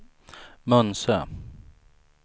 Munsö